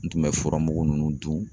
N tun bɛ furamugu munnu dun.